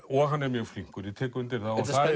og hann er mjög flinkur ég tek undir það